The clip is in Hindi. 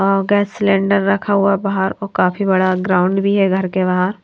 और गैस सिलेंडर रखा हुआ बाहर और काफी बड़ा ग्राउंड भी है घर के बाहर।